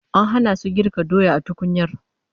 An hana su girka doya a tukunyar